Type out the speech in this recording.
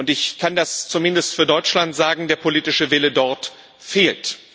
Ich kann das zumindest für Deutschland sagen Der politische Wille dort fehlt